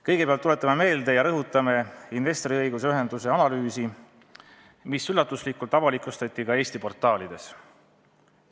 Kõigepealt tuletame meelde ja rõhutame investoriõiguste ühenduse analüüsi, mis üllatuslikult avalikustati ka Eesti portaalides.